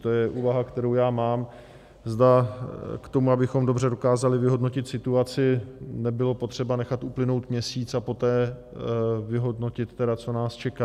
To je úvaha, kterou já mám, zda k tomu, abychom dobře dokázali vyhodnotit situaci, nebylo potřeba nechat uplynout měsíc a poté vyhodnotit tedy, co nás čeká.